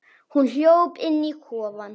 Hún hljóp inn í kofann.